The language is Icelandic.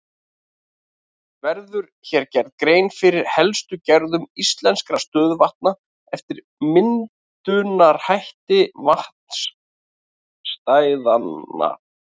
Verður hér gerð grein fyrir helstu gerðum íslenskra stöðuvatna eftir myndunarhætti vatnastæðanna.